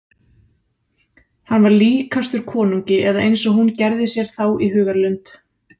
Hann var líkastur konungi eða eins og hún gerði sér þá í hugarlund.